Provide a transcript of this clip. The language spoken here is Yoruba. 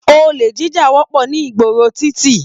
Ole jíjà wọpọ ní ìgboro titi.